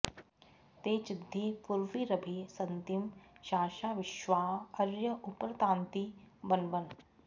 ते चि॒द्धि पू॒र्वीर॒भि सन्ति॑ शा॒सा विश्वाँ॑ अ॒र्य उ॑प॒रता॑ति वन्वन्